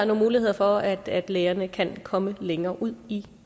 nogle muligheder for at at lægerne kan komme længere ud i